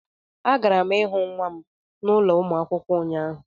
Agara m ịhụ nwa m n' ụlọ ụmụ akwụkwọ ụnyahụ